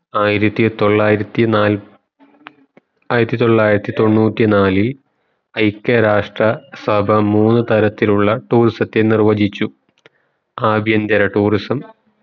ആയിരത്തി തൊള്ളായിരത്തി നാല്‌പ്‌ ആയിരത്തി തൊള്ളരതി തൊണ്ണൂറ്റി നാലിൽ ഐക്യ രാഷ്ട്ര സഭ മൂന്നു തരത്തിലുള്ള tourism ത്തെ നിർവഹികിച്ചു ആഭ്യന്തര tourism